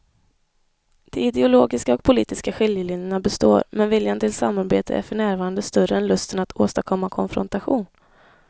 De ideologiska och politiska skiljelinjerna består men viljan till samarbete är för närvarande större än lusten att åstadkomma konfrontation.